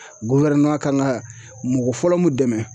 kan ka mɔgɔ fɔlɔ mun dɛmɛ